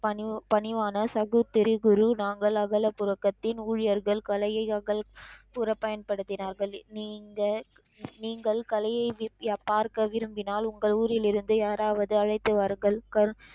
பணிவு பணிவான சகு திரி குரு நாங்கள் அகல புலகத்தின் ஊழியர்கள் கலையை அகல், புற பயன்படுத்தினார்கள் நீங்கள் நீங்கள் கலையை வீசி பார்க்க விரும்பினால் உங்கள் ஊரிலிருந்து யாராவது அழைத்து வாருங்கள் கரு,